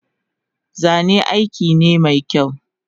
Zane aikine mekyau